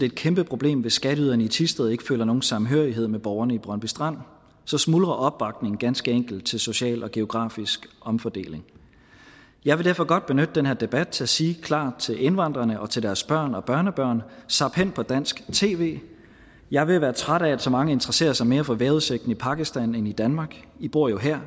et kæmpeproblem hvis skatteyderne i thisted ikke føler nogen samhørighed med borgerne i brøndby strand så smuldrer opbakningen ganske enkelt til social og geografisk omfordeling jeg vil derfor godt benytte den her debat til at sige klart til indvandrerne og til deres børn og børnebørn zap hen på dansk tv jeg er ved at være træt af at så mange interesserer sig mere for vejrudsigten i pakistan end i danmark i bor jo her